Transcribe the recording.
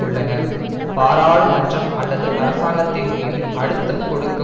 உள்ளனர் பாராளுமன்றம் அல்லது அரசாங்கத்தின் மீது அழுத்தம் கொடுக்க